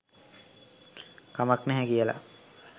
කමක් නැහැ කියලා.